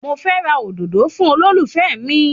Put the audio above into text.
Mo fẹ́ ra òdòdó fún olólùfẹ́ mi